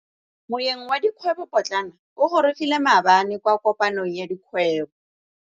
Moêng wa dikgwêbô pôtlana o gorogile maabane kwa kopanong ya dikgwêbô.